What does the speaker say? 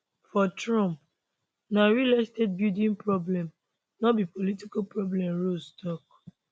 for trump na real estate building problem no be political problem ross tok